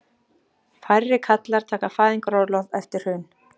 Færri karlar taka fæðingarorlof eftir hrun